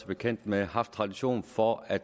bekendt med haft tradition for at